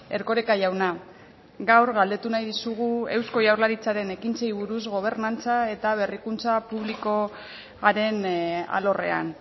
erkoreka jauna gaur galdetu nahi dizugu eusko jaurlaritzaren ekintzei buruz gobernantza eta berrikuntza publikoaren alorrean